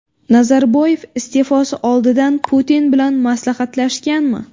Nazarboyev iste’fosi oldidan Putin bilan maslahatlashganmi?